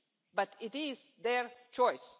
But it is their choice.